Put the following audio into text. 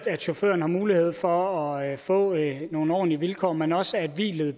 chaufføren har mulighed for at få nogle ordentlige vilkår men også at hvilet